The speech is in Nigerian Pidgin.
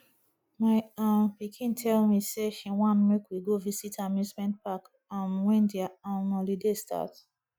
my um pikin tell me say she wan make we go visit amusement park um wen their um holiday start